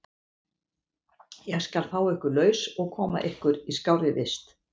Ég skal fá ykkur laus og koma ykkur í skárri vist.